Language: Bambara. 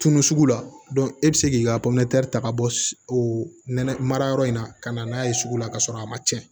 Tunu sugu la e bɛ se k'i ka ta ka bɔ o nɛnɛ mara yɔrɔ in na ka na n'a ye sugu la ka sɔrɔ a ma tiɲɛ